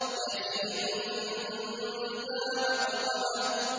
يَتِيمًا ذَا مَقْرَبَةٍ